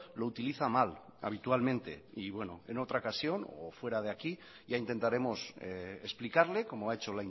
lo utiliza mal habitualmente y bueno en otra ocasión o fuera de aquí ya intentaremos explicarle como ha hecho